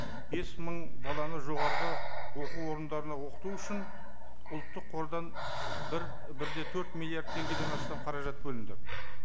бес мың баланы жоғарғы оқу орындарына оқыту үшін ұлттық қордан бір бір де төрт миллиард теңгеден астам қаражат бөлінді